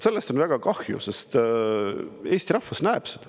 Sellest on väga kahju, sest Eesti rahvas näeb seda.